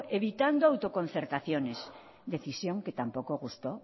evitando autoconcertaciones decisión que tampoco gustó